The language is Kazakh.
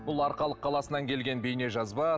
бұл арқалық қаласынан келген бейнежазба